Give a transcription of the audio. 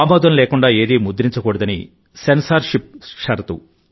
ఆమోదం లేకుండా ఏదీ ముద్రించకూడదని సెన్సార్షిప్ షరతు